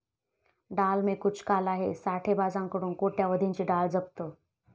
डाल में कुछ काला हैं', साठेबाजांकडून कोट्यवधींची डाळ जप्त